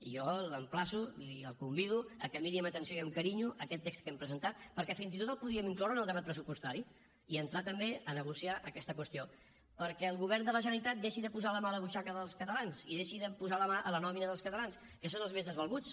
i jo l’emplaço i el convido que miri amb atenció i amb carinyo aquest text que hem presentat perquè fins i tot el podríem incloure en el debat pressupostari i entrar també a negociar aquesta qüestió perquè el govern de la generalitat deixi de posar la mà a la butxaca dels catalans i deixi de posar la mà a la nòmina dels catalans que són els més desvalguts